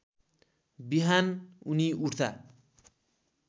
बिहान उनी उठ्दा